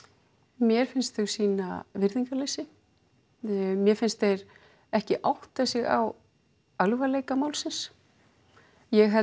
mér finnst þau sýna virðingarleysi mér finnst þeir ekki átta sig á alvarleika málsins ég held